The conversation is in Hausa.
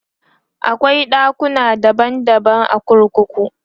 akwai ɗakuna daban daban a kurkuku